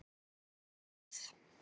Hún gæti neitað.